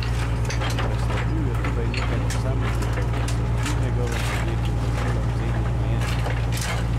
Preslepil je tudi nekaj posameznikov, ki so pri njegovem podjetju vozila vzeli v najem.